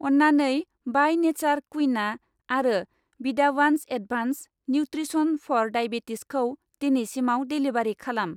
अन्नानै by nature क्विन'आ आरो विदावान्स एड्भान्स्ड निउत्रिसन फर दायबेटिसखौ दिनैसिमाव डेलिबारि खालाम।